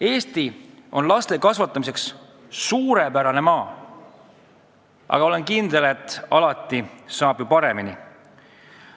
Eesti on laste kasvatamiseks suurepärane maa, aga olen kindel, et alati saab veel paremini.